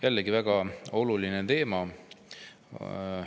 Jällegi väga oluline teema.